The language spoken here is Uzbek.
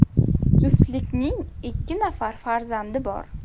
Juftlikning ikki nafar farzandi bor.